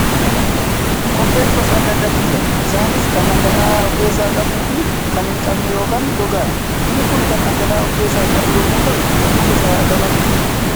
Kobbeen gosa adda addaatu jira. Isaanis kan dhagala'aa of keessaa qabuu fi kan hin qabne yookaan gogaadha. Inni Kun kan dhangala'aa of keessaa qabu yommuu ta'u, halluu gosa lamatu jiru.